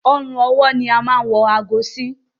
Ọrùn ọwọ́ ni a máa n wọ aago sí